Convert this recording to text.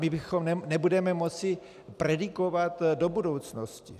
My nebudeme moci predikovat do budoucnosti.